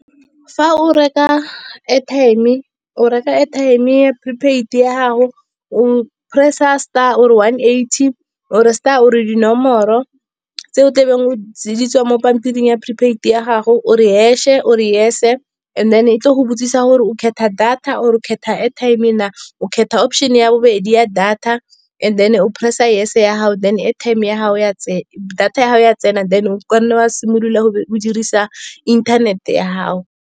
Fa o reka airtime o reka airtime ya prepaid ya gago, o press-a star o re one eighty or e star o re dinomoro tse o tlabeng di tswa mo pampiring ya prepaid ya gago. O re hash-e o re yes-e and then e tle go botsisa gore o kgetha data or khetha airtime, o kgetha option ya bobedi ya data. And then o press-a yes ya gago, then airtime ya gago ya data ya tsena, then o ka nna wa simolola go dirisa inthanete ya gago.